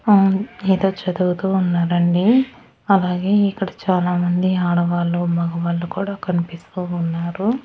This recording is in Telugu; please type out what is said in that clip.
ఆ ఏదో చదువుతూ ఉన్నారండి అలాగే ఇక్కడ చానామంది ఆడవాళ్లు మగవాళ్ళు కూడా కనిపిస్తూ ఉన్నారు.